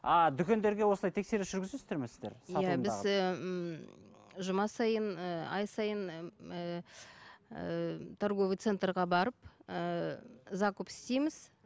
а дүкендерге осылай тексеріс жүргізесіздер ме сіздер біз ііі жұма сайын ііі ай сайын ііі торговый центрге барып ііі закуп істейміз